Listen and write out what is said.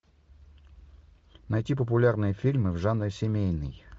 найти популярные фильмы в жанре семейный